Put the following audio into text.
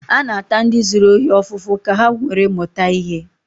A na-ata ndi zuru ohi ofufu ka ha nwere muta ihe